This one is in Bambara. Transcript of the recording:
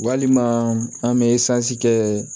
Walima an bɛ kɛ